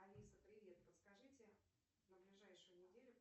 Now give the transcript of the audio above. алиса привет подскажите на ближайшую неделю